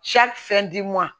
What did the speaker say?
fɛn di ma